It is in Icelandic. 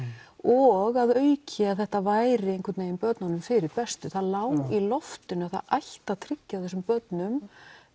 og að auki að þetta væri einhvern vegin börnunum fyrir bestu það lá í loftinu að það ætti að tryggja þessum börnum